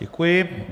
Děkuji.